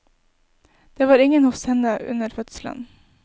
Det var ingen hos henne under fødselen.